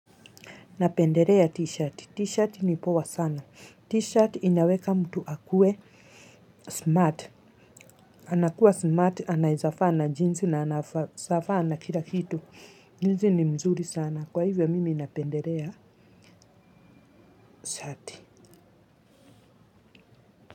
Napenderea t-shirt. T-shirt ni poa sana. T-shirt inaweka mtu akue smart. Anakuwa smart. Anaeza faa na jeans na anafaa na kila kitu. Hizi ni mzuri sana. Kwa hivyo mimi napenderea shirt.